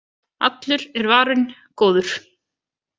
Allur er varinn góður